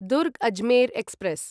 Durg Ajmer express